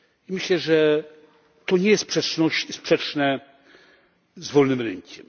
Myślę, że to nie jest sprzeczne z wolnym rynkiem.